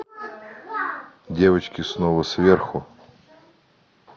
девочки снова сверху